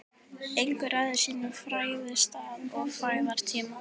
Enginn ræður sínum fæðingarstað og fæðingartíma.